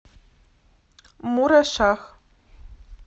мурашах